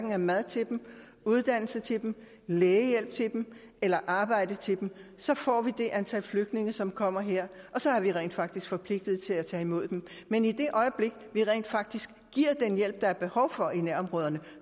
er mad til dem uddannelse til dem lægehjælp til dem eller arbejde til dem får vi det antal flygtninge som kommer her og så er vi rent faktisk forpligtet til at tage imod dem men i det øjeblik vi rent faktisk giver den hjælp der er behov for i nærområderne